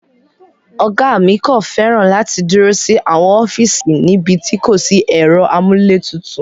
Ọ̀gá mi kò fẹ́ràn láti dúró sí àwọn ọ́fíìsì níbi tí kò sí ẹ̀rọ amúlétutù.